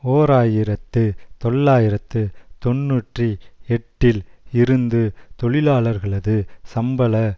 ஓர் ஆயிரத்து தொள்ளாயிரத்து தொன்னூற்றி எட்டில் இருந்து தொழிலாளர்களது சம்பள